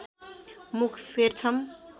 मुख फेर्छम